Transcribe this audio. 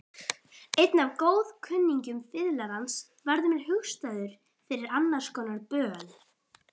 Einn af góðkunningjum fiðlarans varð mér hugstæður fyrir annarskonar böl.